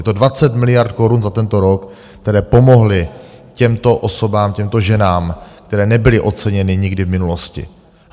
Je to 20 miliard korun za tento rok, které pomohly těmto osobám, těmto ženám, které nebyly oceněny nikdy v minulosti.